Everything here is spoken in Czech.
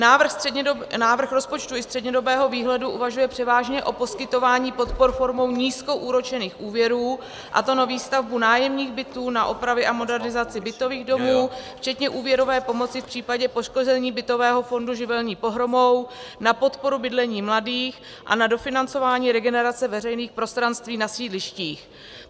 Návrh rozpočtu i střednědobého výhledu uvažuje převážně o poskytování podpor formou nízkoúročených úvěrů, a to na výstavbu nájemních bytů, na opravy a modernizaci bytových domů včetně úvěrové pomoci v případě poškození bytového fondu živelní pohromou, na podporu bydlení mladých a na dofinancování regenerace veřejných prostranství na sídlištích.